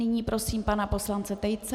Nyní prosím pana poslance Tejce.